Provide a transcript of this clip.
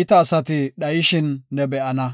iita asati dhayishin ne be7ana.